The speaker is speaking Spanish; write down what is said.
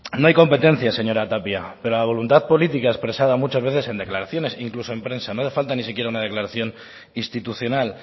no hay competencias señora tapia pero la voluntad política expresada muchas veces en declaraciones incluso en prensa no hace falta ni siquiera una declaración institucional